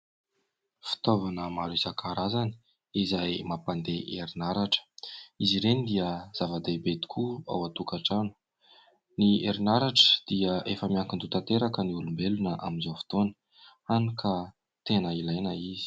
Fitaovana maro isan-karazany izay mampandeha herinaratra. Izy ireny dia zava-dehibe tokoa ao an-tokantrano. Ny herinaratra dia efa miankin-doha tanteraka ny olombelona amin'izao fotoana, hany ka tena ilaina izy.